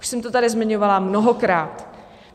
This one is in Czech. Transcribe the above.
Už jsem to tady zmiňovala mnohokrát.